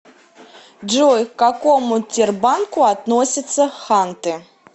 джой к какому тербанку относятся ханты